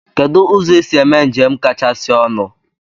Kedụ ụzọ esi eme njem kachasị ọnụ?